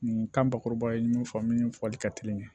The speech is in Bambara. Nin kan bakuruba ye min fɔ min fɔli ka teli